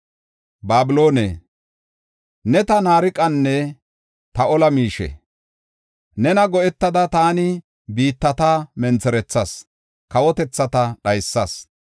“Babiloone, ne ta naariqanne ta ola miishe; Nena go7etada taani biittata mentherethas; kawotethata dhaysas.